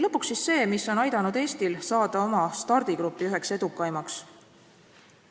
Lõpuks see, mis on aidanud Eestil saada oma stardigrupi üheks edukaimaks.